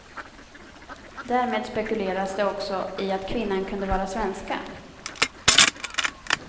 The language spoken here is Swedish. Därmed spekulerades det också i att kvinnan kunde vara svenska.